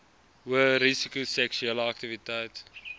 hoërisiko seksuele aktiwiteit